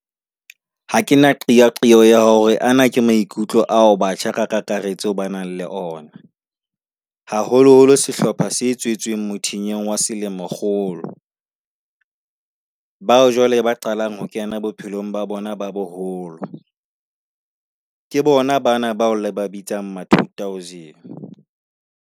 Ha ke na qeaqeo ya hore ana ke maikutlo ao batjha ka kakaretso ba nang le ona, haholoholo sehlopha se tswetsweng mothinyeng wa selemokgolo, bao jwale ba qalang ho kena bophelong ba bona ba boholo, ke bona bana bao le ba bitsang ma2000.